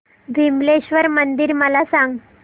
विमलेश्वर मंदिर मला सांग